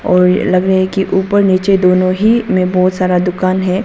और ये लग रहा है कि ऊपर नीचे दोनों ही में बहुत सारा दुकान है।